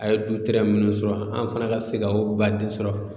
A ye du minnu sɔrɔ an fana ka se ka baden sɔrɔ